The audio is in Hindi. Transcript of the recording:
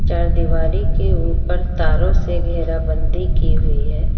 चार दिवारी के ऊपर तारों से घेराबंदी की हुई है।